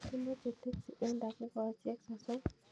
Amoche teksi en takikoosyek sosom